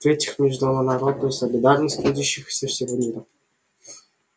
в третьих международную солидарность трудящихся всего мира